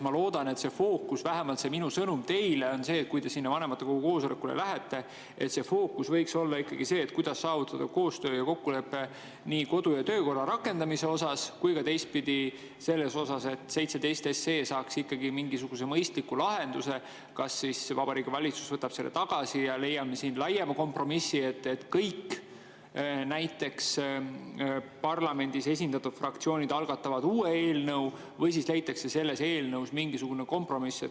Ma loodan, et fookus – vähemalt minu sõnum teile on see, kui te sinna vanematekogu koosolekule lähete – võiks olla ikkagi sellel, kuidas saavutada koostöö ja kokkulepe nii kodu‑ ja töökorra rakendamisel kui ka selles, et 17 SE saaks mingisuguse mõistliku lahenduse, kas siis Vabariigi Valitsus võtaks selle tagasi ja me leiaksime siin laiema kompromissi, et kõik parlamendis esindatud fraktsioonid algatavad uue eelnõu, või siis leitakse selles eelnõus mingisugune kompromiss.